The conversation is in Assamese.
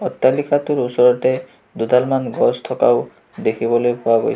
অট্টালিকাটোৰ ওচৰতে দুডাল মান গছ থকাও দেখিবলৈ পোৱা গৈছে.